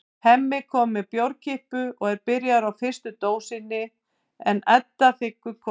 Hemmi kom með bjórkippu og er byrjaður á fyrstu dósinni en Edda þiggur kók.